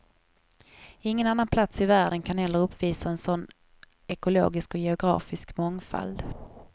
Ingen annan plats i världen kan heller uppvisa en sådan ekologisk och geografisk mångfald.